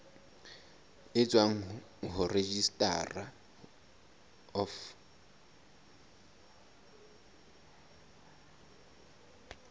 e tswang ho registrar of